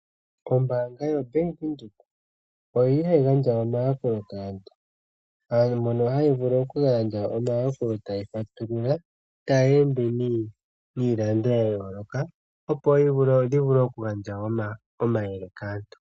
Ombaanga yaVenduka oyili hayi gandja omayakulo kaantu. Aantu mbono haya vulu okugandja omayakulo taya fatulula taya ende niilando yayoloka opo yavule okugandja omayele kaantu.